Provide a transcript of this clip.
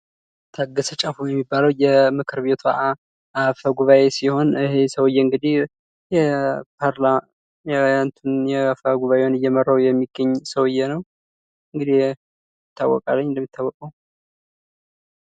ታገሰ ጫፎ የተባለ ሰውየ ሲሆን የምክር ቤት አፈ ጉባኤ ሲሆን፣ አፈ ጉባአኤውን እየመራው የሚገኝ ሰውየ ነው እንደሚታወቀው።